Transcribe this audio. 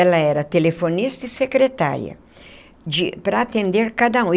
Ela era telefonista e secretária de para atender cada um.